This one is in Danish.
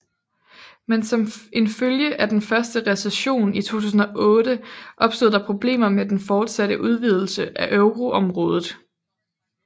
Men som en følge af den første recession i 2008 opstod der problemer med den fortsatte udvidelse af euroområdet